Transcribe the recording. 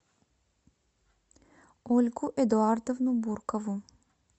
ольгу эдуардовну буркову